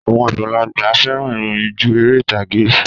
Àwọn àgbàlagbà fẹ́ràn ìròyìn ju ère ìtagé